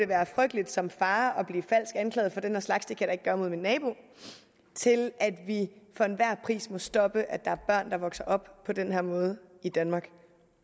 være frygteligt som far at anklaget for den her slags det kan ikke gøre mod min nabo til at vi for enhver pris må stoppe at der er børn der vokser op på den her måde i danmark